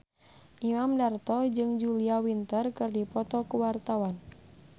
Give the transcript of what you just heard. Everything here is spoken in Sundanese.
Imam Darto jeung Julia Winter keur dipoto ku wartawan